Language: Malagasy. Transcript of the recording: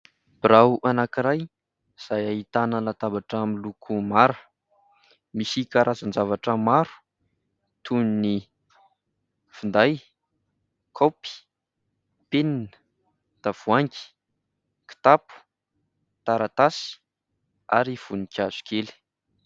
Birao anankiray izay ahitana latabatra miloko maro, misy karazan-javatra maro toy ny finday kaopy, penina, tavoahangy, kitapo, taratasy ary voninkazo kely.